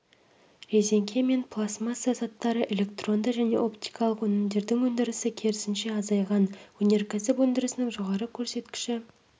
резеңке мен пластмасса заттары электронды және оптикалық өнімдердің өндірісі керісінше азайған өнеркәсіп өндірісінің жоғары көрсеткіші